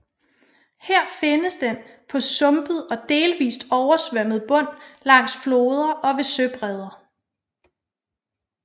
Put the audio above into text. Her findes den på sumpet og delvist oversvømmet bund langs floder og ved søbredder